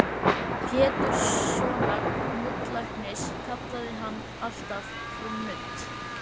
Péturssonar nuddlæknis kallaði hann alltaf Frú Nudd.